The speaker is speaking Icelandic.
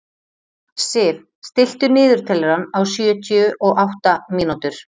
Sif, stilltu niðurteljara á sjötíu og átta mínútur.